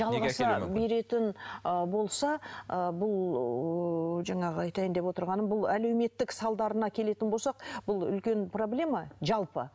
беретін ы болса ы бұл ыыы жаңағы айтайын деп отырғаным бұл әлеуметтік салдарына келетін болсақ бұл үлкен проблема жалпы